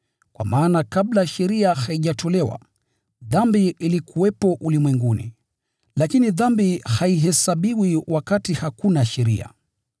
kwa maana kabla sheria haijatolewa, dhambi ilikuwepo ulimwenguni. Lakini dhambi haihesabiwi wakati hakuna sheria.